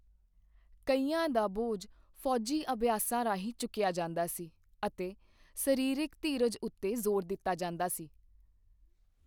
ਕਈਆਂ ਦਾ ਬੋਝ ਫ਼ੌਜੀ ਅਭਿਆਸਾਂ ਰਾਹੀਂ ਚੁੱਕਿਆ ਜਾਂਦਾ ਸੀ ਅਤੇ ਸਰੀਰਕ ਧੀਰਜ ਉੱਤੇ ਜ਼ੋਰ ਦਿੱਤਾ ਜਾਂਦਾ ਸੀ।